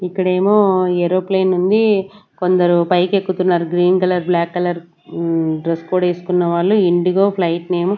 ఇక్కడేమో ఏరోప్లేన్ ఉంది కొందరు పైకి ఎక్కుతున్నారు green colour black colour hmm dress code ఎస్కున్న వాళ్ళు ఇండిగో ఫ్లైట్ నేమ్ .